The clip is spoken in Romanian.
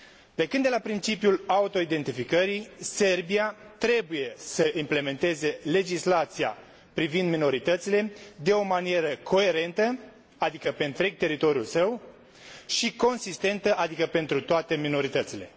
Plecând de la principiul autoidentificării, Serbia trebuie să implementeze legislația privind minoritățile de o manieră coerentă, adică pe întreg teritoriul său și consistentă, adică pentru toate minoritățile.